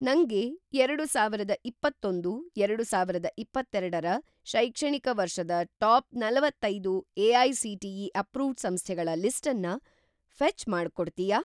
ನಂಗೆ ಎರಡುಸಾವಿರದ ಇಪ್ಪತ್ತೊಂದು - ಎರಡುಸಾವಿರದ ಇಪ್ಪತ್ತೆರಡ ರ ಶೈಕ್ಷಣಿಕ ವರ್ಷದ ಟಾಪ್‌ ನಲವತ್ತೈದು ಎ.ಐ.ಸಿ.ಟಿ.ಇ. ಅಪ್ರೂವ್ಡ್‌ ಸಂಸ್ಥೆಗಳ ಲಿಸ್ಟನ್ನ ಫ಼ೆಚ್ ಮಾಡ್ಕೊಡ್ತಿಯಾ?